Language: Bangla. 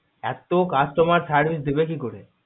এত customer service দিবে কি করে?